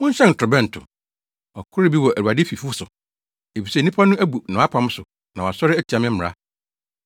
“Monhyɛn torobɛnto! Ɔkɔre bi wɔ Awurade fifo so efisɛ nnipa no abu mʼapam so na wɔasɔre atia me mmara.